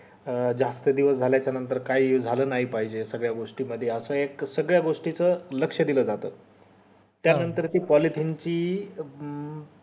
अं जास्त दिवस झाल्या च्या नंतर काही झालं नाही पाहिजे सगळ्या गोष्टी मध्ये असं एक सगळ्या गोष्टी मध्ये लक्ष दिल जात त्या नंतर ती policy ची हम्म